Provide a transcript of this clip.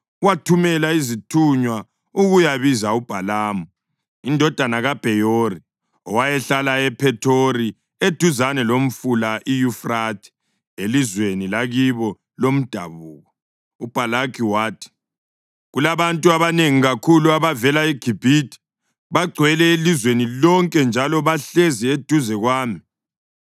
wathumela izithunywa ukuyabiza uBhalamu indodana kaBheyori, owayehlala ePhethori eduzane lomfula iYufrathe elizweni lakibo lomdabuko. UBhalaki wathi, “Kulabantu abanengi kakhulu abavela eGibhithe; bagcwele ilizwe lonke njalo bahlezi eduze kwami.